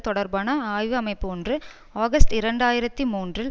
தொடர்பான ஆய்வு அமைப்பு ஒன்று ஆகஸ்ட் இரண்டு ஆயிரத்தி மூன்றில்